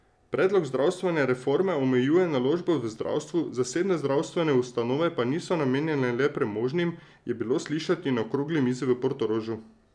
Predlog zdravstvene reforme omejuje naložb v zdravstvu, zasebne zdravstvene ustanove pa niso namenjene le premožnim, je bilo slišati na okrogli mizi v Portorožu.